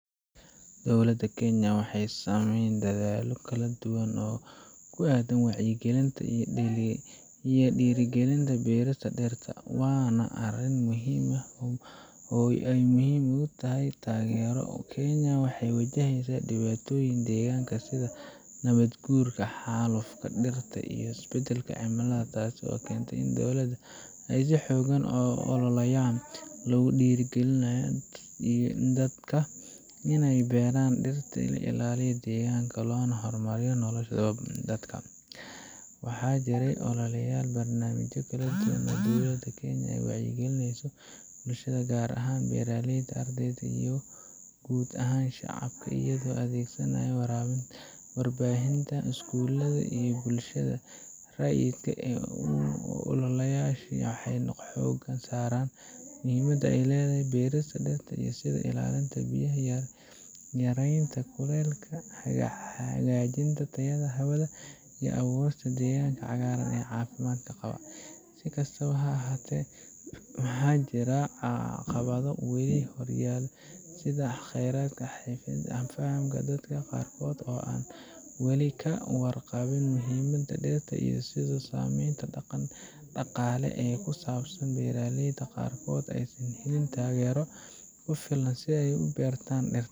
Dowlaada kenya waxee samen kala dadhalo kala duwan oo ku adan wacya galinta iyo dira galinta beera leyda mase dirta, wana arin muhiim ah oo ee muhiim utahay tagero, kenya waxee wajahesa diwatoyin deganka sitha nawad gurka xalufka dirta iyo isbadalka tas oo kente in dowlaada ee si xogan u ololeyan dadka in ee beeran dirta la ilaliyo deganka lona hor mariyo nolosha dadka waxaa jire ololeyal barnamijo kala duwan madhaxdoyada kenya ee wacya galineyso bulshaada gar ahan beera leydu iyo gud ahan shacabka iyaga oo adhegsanayo warabin warbahinta isgulada iyo bulshaada rayi u ololayasha xogan sara iyo muhiimaada ee ledhahay beerista sitha ilalinta biyaha iyo yarenta kulelka hagajinta hawadha tayo leh iyo fursaad deganka cafimaad qawo si kastawo ha ahate waxaa jira caqawadho wali hogansan sitha dadka qar kod oo ah oo ka warqaba muhiimaada derta iyo sitha samen daqale usan qabsanin beera leyda qar kodha in latagero kufilan si ee u beertan.